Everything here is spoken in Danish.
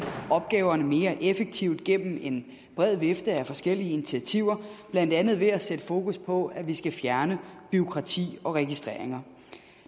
opgaverne mere effektivt gennem en bred vifte af forskellige initiativer blandt andet ved at sætte fokus på at vi skal fjerne bureaukrati og registreringer